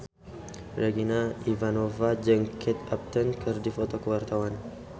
Regina Ivanova jeung Kate Upton keur dipoto ku wartawan